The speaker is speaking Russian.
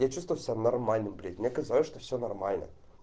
я чувствую себя нормально блять мне казалось что все нормально